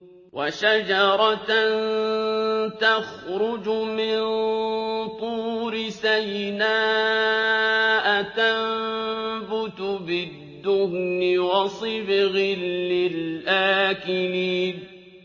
وَشَجَرَةً تَخْرُجُ مِن طُورِ سَيْنَاءَ تَنبُتُ بِالدُّهْنِ وَصِبْغٍ لِّلْآكِلِينَ